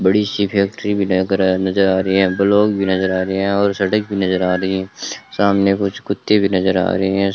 बड़ी सी फैक्ट्री भी लग रहा है नजर आ रही है ब्लॉक भी नजर आ रहे हैं और सड़क भी नजर आ रही है सामने कुछ कुत्ते भी नजर आ रहे है।